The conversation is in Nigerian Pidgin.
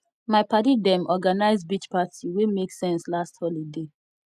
my paddy dem organise beach party wey make sense last holiday